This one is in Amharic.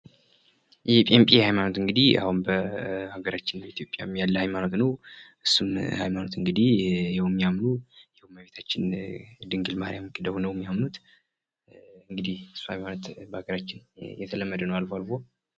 የጴንጤ ሀይማኖት እንግዲህ አሁን በሀገራችን በኢትዮጵያም ያለ ሀይማኖት ነው። እሱም ሀይማኖት እንግዲህ ያው የሚያምኑ የእመቤታችን ድንግል ማሪያምን ክደው ነው የሚያምኑት እንግዲህ እሱ ሀይማኖት በሀገራችን የተለመደ ነው አልፎ አልፎ